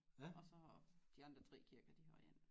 Og så de andre 3 kirker de har én